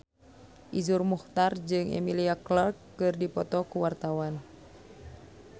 Iszur Muchtar jeung Emilia Clarke keur dipoto ku wartawan